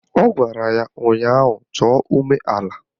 Ọ gwara ya ụnyaahụ "Chọọ umeala"!